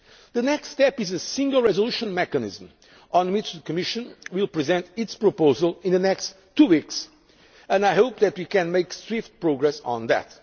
the latest. The next step is a single resolution mechanism, on which the Commission will present its proposal in the next two weeks, and I hope that we can make swift progress